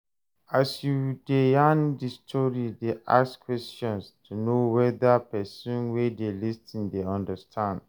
As you de yarn di story de ask questions to know whether persin wey de lis ten de understand